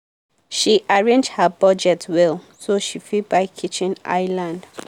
she arrange her budget well so she fit buy kitchen island.